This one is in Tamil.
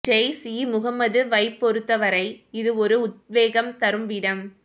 ஜெய்ஷ் இ முகமதுவைப் பொறுத்தவரை இது ஒரு உத்வேகம் தரும் இடம்